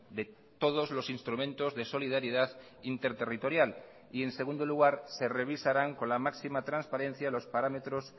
de todos los instrumentos de solidaridad interterritorial y en segundo lugar se revisarán con la máxima transparencia los parámetros